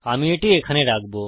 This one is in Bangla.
আমি এটি এখানে রাখব